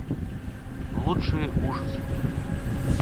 лучшие ужасы